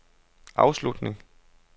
afslutning